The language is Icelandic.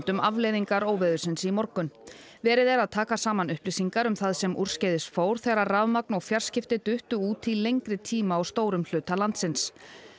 um afleiðingar óveðursins í morgun verið er að taka saman upplýsingar um það sem úrskeiðis fór þegar rafmagn og fjarskipti duttu út í lengri tíma á stórum hluta landsins